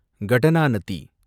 Kadananathi